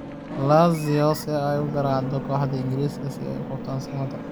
Lazio si ay u garaacdo kooxaha Ingiriiska si ay u qabtaan Samatta?